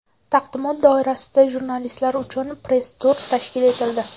Taqdimot doirasida jurnalistlar uchun press-tur tashkil etildi.